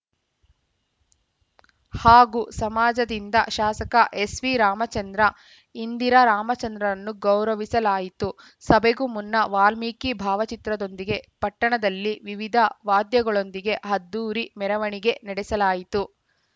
ಹಾಗೂ ಸಮಾಜದಿಂದ ಶಾಸಕ ಎಸ್‌ವಿರಾಮಚಂದ್ರ ಇಂದಿರಾ ರಾಮಚಂದ್ರರನ್ನು ಗೌರವಿಸಲಾಯಿತು ಸಭೆಗೂ ಮುನ್ನ ವಾಲ್ಮೀಕಿ ಭಾವಚಿತ್ರದೊಂದಿಗೆ ಪಟ್ಟಣದಲ್ಲಿ ವಿವಿಧ ವಾದ್ಯಗಳೊಂದಿಗೆ ಅದ್ಧೂರಿ ಮೆರವಣಿಗೆ ನಡೆಸಲಾಯಿತು